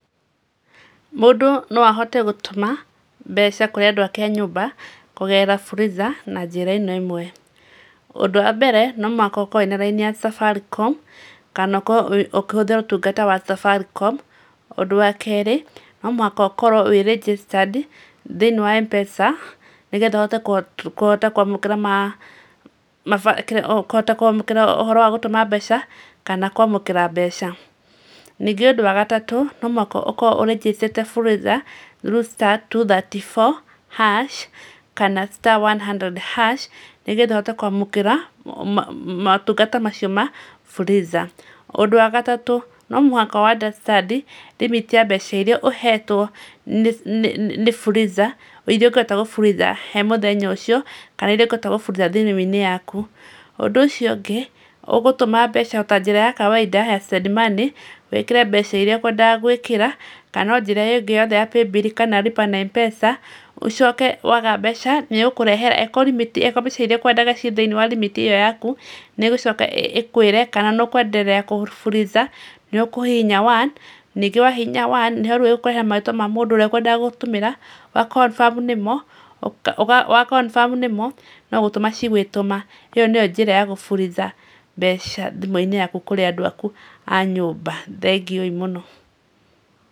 Mũndũ no ahote gũtũma mbeca kũrĩ andũ ake a nyũmba kũgerera Fuliza na njĩra ĩno ĩmwe. Ũndũ wa mbeere no mũhaka ũkorwo na raini ya Safaricom kana ũkorwo ukĩhũthĩra ũtungata wa Safaricom. Ũndũ wa kerĩ, no mũhaka ũkorwo wĩ registered thĩinĩ wa M-PESA nĩgetha ũhote kũhota kũamũkĩra ũhoro wa gũtũma mbeca, kana kũamũkĩra mbeca. Ningĩ ũndũ wa gatatũ, no mũhaka ũkorwo ũrĩnjĩstĩte Fuliza through star two thirty four hash kana star one hundred hash nĩgetha uhote kũamũkĩra motungata macio ma Fuliza. Ũndũ wa gatatũ, no mũhaka ũandastandi limit ya mbeca iria ũhetwo nĩ Fuliza iria ũkoretwo gũburitha he mũthenya ũcio kana iria ũkoretwo ũgĩburitha thimũinĩ yaku. Ũndũ ũcio ũngĩ, ũgũtũma mbeca o ta njĩra ya kawaida ya send money wĩkĩre mbeca iria ũkũendaga gũĩkĩra kana no njĩra ĩrĩa yothe ya paybill kana lipa na M-PESA ũcoke waga mbeca, nĩgũkũrehera eko rimiti eko mbeca iria ũkũendaga ci thĩinĩ wa rimiti iyo yaku nĩgũcoka ĩkũĩre kana nũkũenderea gũburica nĩũkũhihinya one ningĩ wahihinya one nĩho rĩu ĩgũkũrehera marĩtwa ma mũndũ ũrĩa ũkũendaga gũtũmĩra wakonbamu nĩmo no gũtũma cigũĩtũma. ĩyo nĩyo njĩra ya gũburica mbeca thimũinĩ yaku kũrĩ andũ akũ a nyũmba. Thengiũ i mũno.